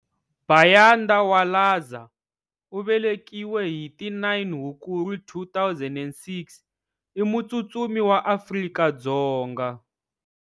Bayanda Walaza u velekiwe hi ti 9 Hukuri 2006, i mutsutsumi wa Afrika-Dzonga.